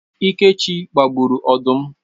Ikechi gbagburu odum